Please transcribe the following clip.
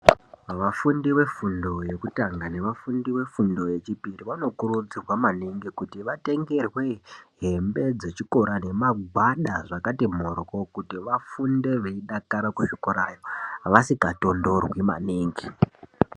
Vafundi vefundo yekutanga nevafundi vefundo yechipiri vanokurudzirwa maningi kuti vatengerwe hembe dzechikora nemagwada zvakati mhoryo kuti vafunde veidakara kuzvikorayo vasikatondorwi maningi.